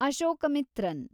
Ashokamitran